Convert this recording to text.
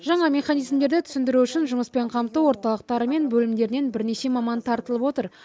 жаңа механизмдерді түсіндіру үшін жұмыспен қамту орталықтары мен бөлімдерінен бірнеше маман тартылып отыр